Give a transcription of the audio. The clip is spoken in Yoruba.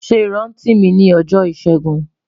Ṣe iranti mi ni ọjọ Ishegun